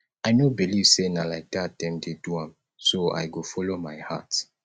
i no believe say na like dat dem dey do am so i go follow my heart